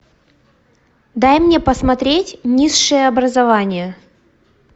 дай мне посмотреть низшее образование